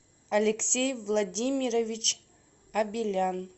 алексей владимирович абелян